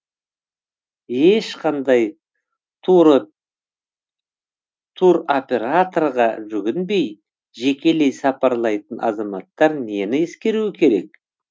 ешқандай туроператорға жүгінбей жекелей сапарлайтын азаматтар нені ескеруі керек